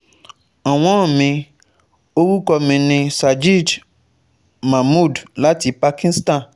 Ọ̀wọ́n mi, orúkọ mi ni Sajid Mahmood láti Pakistan